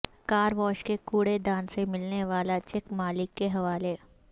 کار wash کے کوڑے دان سے ملنے والا چیک مالک کے حوالے